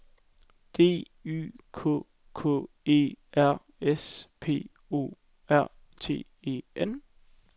D Y K K E R S P O R T E N